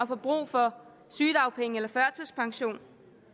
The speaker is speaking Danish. få brug for sygedagpenge eller førtidspension